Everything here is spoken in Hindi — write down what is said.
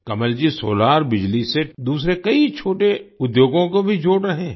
कमलजी सोलार बिजली से दूसरे कई छोटे उद्योगों को भी जोड़ रहे हैं